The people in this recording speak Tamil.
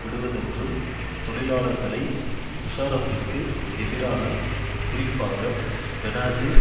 விடுவதென்றும் தொழிலாளர்களை முஷாரஃபிற்கு எதிரான குறிப்பாக பெனாசீர்